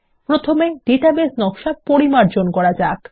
প্রথমে ডাটাবেস নকশা পরিমার্জন করা যাক